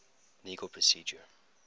legal procedure